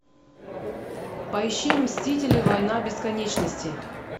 поищи мстители война бесконечности